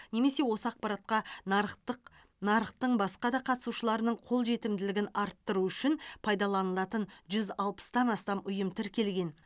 немесе осы ақпаратқа нарықтық нарықтың басқа да қатысушыларының қол жетімділігін арттыру үшін пайдаланатын жүз алпыстан астам ұйым тіркелген